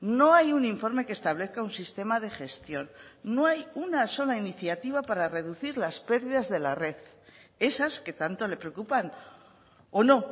no hay un informe que establezca un sistema de gestión no hay una sola iniciativa para reducir las pérdidas de la red esas que tanto le preocupan o no